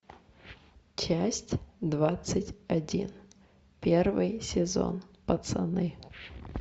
часть двадцать один первый сезон пацаны